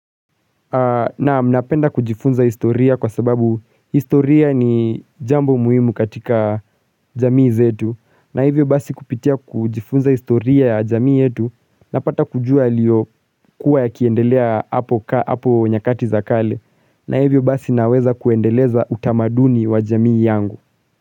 Naam napenda kujifunza historia kwa sababu historia ni jambo muhimu katika jamii zetu na hivyo basi kupitia kujifunza historia ya jamii yetu na pata kujua yaliyo kuwa ya kiendelea hapo nyakati za kale na hivyo basi naweza kuendeleza utamaduni wa jamii yangu.